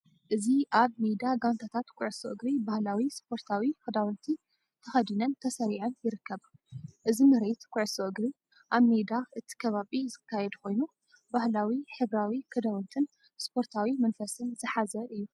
እዚ ኣብ ሜዳ ጋንታታት ኩዕሶ እግሪ ባህላዊ ስፖርታዊ ክዳውንቲ ተኸዲነን ተሰሪዐን ይርከባ። እዚ ምርኢት ኩዕሶ እግሪ ኣብ ሜዳ እቲ ከባቢ ዝካየድ ኮይኑ፡ ባህላዊ ሕብራዊ ክዳውንትን ስፖርታዊ መንፈስን ዝሓዘ እዩ።